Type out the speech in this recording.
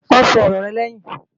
Wọ́n sọ ọ̀rọ rẹ̀ lẹ́yìn